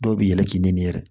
Dɔw bɛ yɛlɛn k'i nɛni yɛrɛ